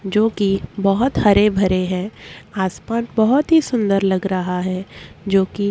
जो की बहोत हरे भरे है आसमान बहोत ही सुन्दर लग रहा है जो की--